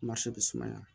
bɛ sumaya